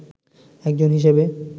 একজন হিসেবে